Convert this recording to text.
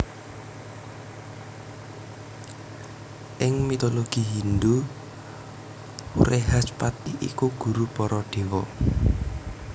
Ing mitologi Hindhu Wrehaspati iku guru para déwa